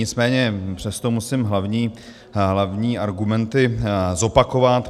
Nicméně přesto musím hlavní argumenty zopakovat.